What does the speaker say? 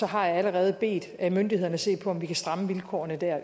har jeg allerede bedt myndighederne se på om vi der kan stramme vilkårene